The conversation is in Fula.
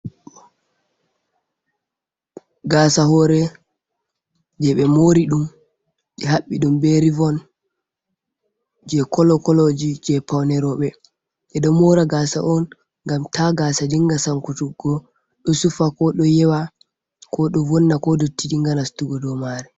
Gasa hore jeɓe mori ɗum ɓe haɓɓi ɗum be rivon je kolo koloji je pawne roɓe, ɓeɗo mora gasa on ngam ta gasa dinga sanku tuggo ɗo sufa, ko ɗo yewa, ko ɗo vonna, ko dotti dinga nastugo dow mare.